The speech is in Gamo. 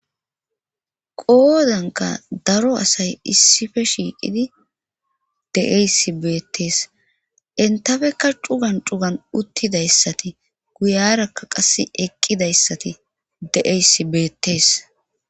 Qoodanka daro asay issife shiiqidi deeysi beettees entafekka cugan cugan uttidayssati guyarakka qas eqqidayssati deeysi beettees.